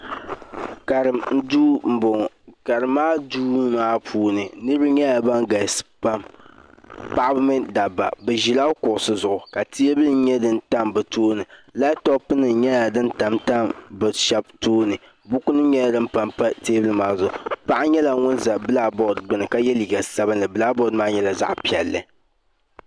Karim duu n boŋo karim maa duu maa puuni niraba nyɛla ban galisi pam paɣaba mini dabba bi ʒila kuŋusi zuɣu ka teebuli nyɛdin tam bi tooni labtop nim nyɛla din tamtam bi shab tooni buku nim nyɛla din panpa teebuli maa zuɣu Paɣa nyɛla ŋun ʒɛ bilak bood gbuni ka yɛ liiga sabinli bilak bood maa nyɛla zaɣ piɛlli